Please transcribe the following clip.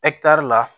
la